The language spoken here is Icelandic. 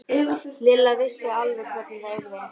Lilla vissi alveg hvernig það yrði.